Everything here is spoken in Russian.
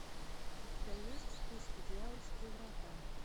у тебя есть в списке дьявольские врата